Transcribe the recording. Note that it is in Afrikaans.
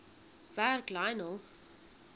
werk lionel